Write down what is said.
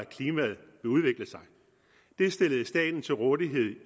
at udvikle sig det stillede staten til rådighed